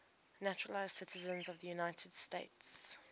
naturalized citizens of the united states